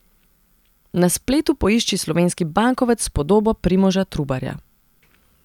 Na spletu poišči slovenski bankovec s podobo Primoža Trubarja.